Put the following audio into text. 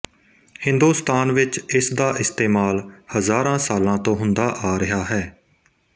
ਹਿੰਦੁਸਤਾਨ ਵਿੱਚ ਇਸ ਦਾ ਇਸਤੇਮਾਲ ਹਜ਼ਾਰਾਂ ਸਾਲਾਂ ਤੋਂ ਹੁੰਦਾ ਆ ਰਿਹਾ ਹੈ